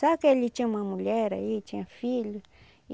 Só que ele tinha uma mulher aí, tinha filho.